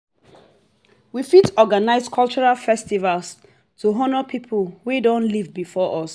we fit organise culural festival to honour pipo wey don live before us